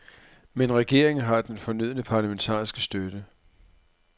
Men regeringen har den fornødne parlamentariske støtte.